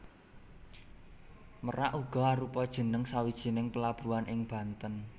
Merak uga arupa jeneng sawijining pelabuhan ing Banten